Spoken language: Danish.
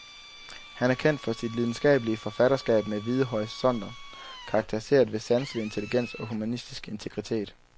Han er kendt for sit lidenskabelige forfatterskab med vide horisonter, karakteriseret ved sanselig intelligens og humanistisk integritet.